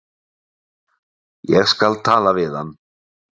Ég skal tala við hann.